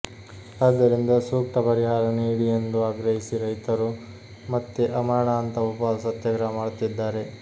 ಆದರಿಂದ ಸೂಕ್ತ ಪರಿಹಾರ ನೀಡಿ ಎಂದು ಆಗ್ರಹಿಸಿ ರೈತರು ಮತ್ತೆ ಆಮರಣಾಂತ ಉಪವಾಸ ಸತ್ಯಾಗ್ರಹ ಮಾಡುತ್ತಿದ್ದಾರೆ